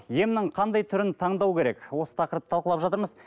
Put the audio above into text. емнің қандай түрін таңдау керек осы тақырыпты талқылап жатырмыз